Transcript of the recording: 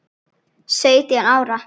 Sautján ára?